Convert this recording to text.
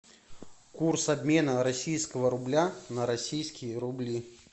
курс обмена российского рубля на российские рубли